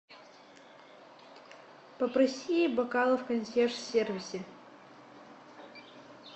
попроси бокалы в консьерж сервисе